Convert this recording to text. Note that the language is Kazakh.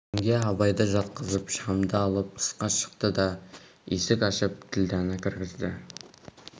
жеңге абайды жатқызып шамды алып тысқа шықты да есік ашып ділдәні кіргізді